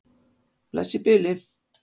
Bless í bili.